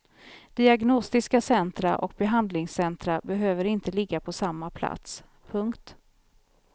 Diagnostiska centra och behandlingscentra behöver inte ligga på samma plats. punkt